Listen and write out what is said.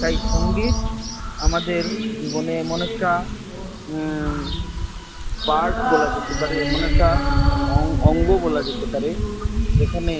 তাই সঙ্গীত আমাদের জীবনে এমন একটা Part বলা যেতে পারে এমন একটা অঙ্গ বলা যেতে পারে এখানে